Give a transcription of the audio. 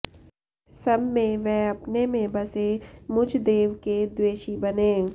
सब में व अपने में बसे मुझ देव के द्वेषी बने